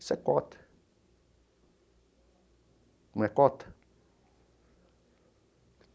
Isso é cota não é cota?.